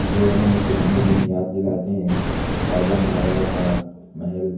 जो हमें पुराने दिन याद दिलाते हैं। राजा महाराजाओं का महल--